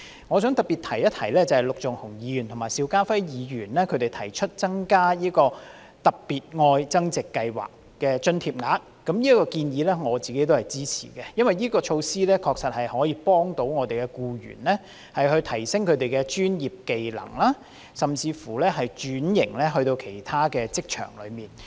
我想特別提及陸頌雄議員及邵家輝議員提出增加"特別.愛增值"計劃的津貼額，我也支持這個建議，因為這項措施確實可以幫助僱員提升專業技能，甚至轉至其他職場。